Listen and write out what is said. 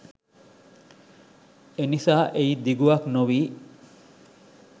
එනිසා එහි දිගුවක් නොවී